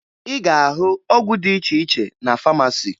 Ị ga-ahụ ọgwụ dị iche iche na famasi